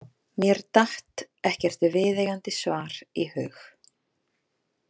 Mér datt ekkert viðeigandi svar í hug.